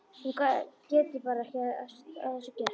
Hún getur bara ekki að þessu gert.